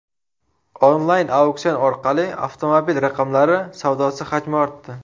Onlayn auksion orqali avtomobil raqamlari savdosi hajmi ortdi.